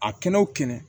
A kɛnɛ o kɛnɛ